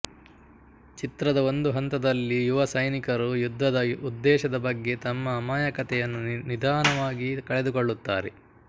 ಚಿತ್ರದ ಒಂದು ಹಂತದಲ್ಲಿಯುವಸೈನಿಕರು ಯುದ್ಧದ ಉದ್ದೇಶದ ಬಗ್ಗೆ ತಮ್ಮ ಅಮಾಯಕತೆಯನ್ನು ನಿಧಾನವಾಗಿ ಕಳೆದುಕೊಳ್ಳುತ್ತಾರೆ